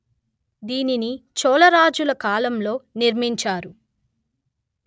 దీనిని చోళరాజుల కాలంలో నిర్మించినారు